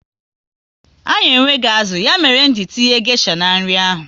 Anyị enweghị azụ, ya mere nji tinye gesha n'nri ahụ